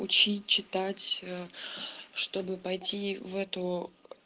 учить читать чтобы пойти в эту